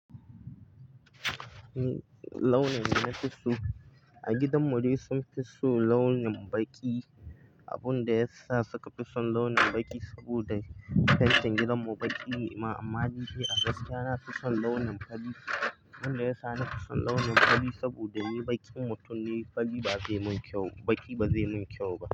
Launin da na fi so a gidan mu dai sun fi so launin baƙi. Abun da ya sa suka fi son launin baƙi saboda faitin gidan mu baƙi ne ma amma ni dai a gaskiya na fi son launin fari. Abin da ya sa na fi son launin fari saboda ni baƙin mutum ne, fari ba zai mun kyau, baƙi ba zai mun kyau ba.